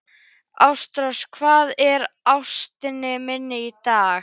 Ástrós, hvað er á áætluninni minni í dag?